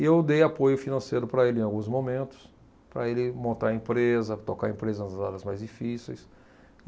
E eu dei apoio financeiro para ele em alguns momentos, para ele montar a empresa, tocar a empresa nas áreas mais difíceis.